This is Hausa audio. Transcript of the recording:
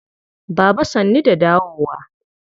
Baba sannu da dawowa.